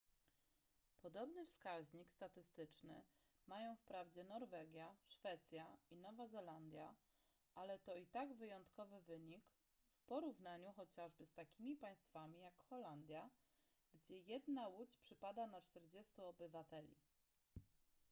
podobny wskaźnik statystyczny mają wprawdzie norwegia szwecja i nowa zelandia ale to i tak wyjątkowy wynik w porównaniu chociażby z takimi państwami jak holandia gdzie jedna łódź przypada na czterdziestu obywateli